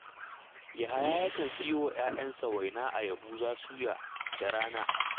Yahaya yakan siyo wa ‘ya’yansa waina a Yahuza Suya da rana